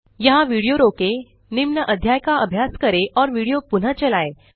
यहाँ विडियो रोकें निम्न अध्याय का अभ्यास करें और विडियो पुनः चलाएँ